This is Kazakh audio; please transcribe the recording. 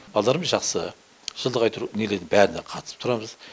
баладаларымыз жақсы жылда әйтеуір неден бәріне қатысып тұрамыз